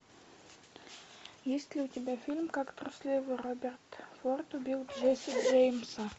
есть ли у тебя фильм как трусливый роберт форд убил джесси джеймса